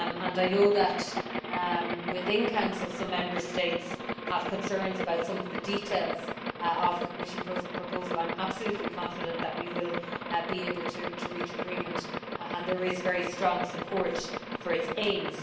I know that, within Council, some Member States have concerns about some of the details of the Commission proposal. However, I am absolutely confident that we will be able to reach agreement as there is very strong support for its aims.